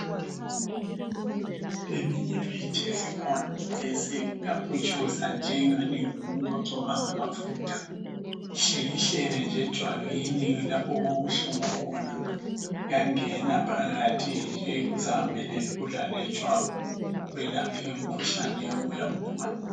Eminye imithi esikhona kathesi iyaputshuzwa njengani ngumuntu ogcoba ngamafutha , uhlikihlele nje ejwabini lapho okubuhlungu khona kuyangena phakathi kuzihambele lula lejwabu kwelaphe umkhuhlane oyabe uwugula